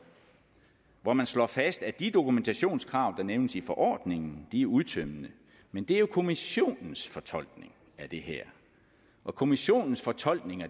hvor man slår fast at de dokumentationskrav der nævnes i forordningen er udtømmende men det er jo kommissionens fortolkning af det her og kommissionens fortolkninger